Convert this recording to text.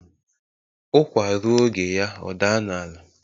Ukwa ruo oge ya o daa n'ala